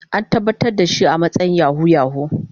An tabbatar da shi a matsayin Yahoo yahoo.